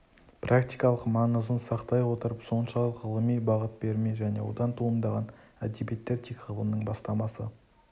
практикалық маңызын сақтай отырып соншалық ғылыми бағыт бермей және одан туындаған әдебиеттер тек ғылымның бастамасы